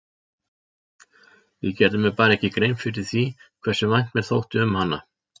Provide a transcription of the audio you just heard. Ég gerði mér bara ekki grein fyrir því hversu vænt mér þótti um hana.